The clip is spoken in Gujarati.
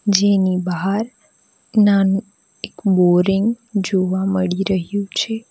જેની બહાર નાનું એક બોરિંગ જોવા મળી રહ્યુ છે.